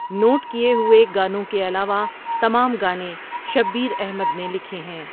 Note کئے ہوئے گانوں کے علاوہ تمام گانے شبیر احمد نے لکھے ہیں۔